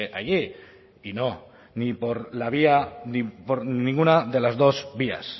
allí y no ni por la vía ni por ninguna de las dos vías